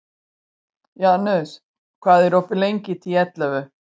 Janus, hvað er opið lengi í Tíu ellefu?